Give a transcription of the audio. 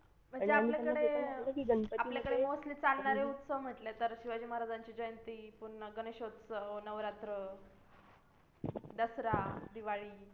पण ते आपल्याकडे आपल्याकडे mostly चालणारे उत्सव म्हणजे म्हटले तर शिवाजी महाराजांची जयंती पूर्ण गणेश उत्सव नवरात्र दसरा दिवाळी